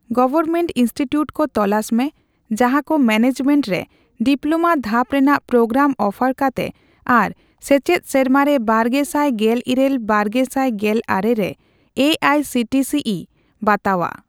Government institute ᱠᱚ ᱛᱚᱞᱟᱥ ᱢᱮ ᱡᱟᱦᱟᱠᱚ ᱢᱮᱱᱮᱡᱢᱮᱱᱴ ᱨᱮ ᱰᱤᱯᱞᱳᱢᱟ ᱫᱷᱟᱯ ᱨᱮᱱᱟᱜ ᱯᱨᱳᱜᱨᱟᱢ ᱚᱯᱷᱟᱨ ᱠᱟᱛᱮ ᱟᱨ ᱥᱮᱪᱮᱫ ᱥᱮᱨᱢᱟᱨᱮ ᱵᱟᱨᱜᱮᱥᱟᱭ ᱜᱮᱞ ᱤᱨᱟᱹᱞ ᱼᱵᱟᱨᱜᱮᱥᱟᱭ ᱜᱮᱞ ᱟᱨᱮ ᱨᱮ A I C T C E ᱵᱟᱛᱟᱣᱟᱜ ᱾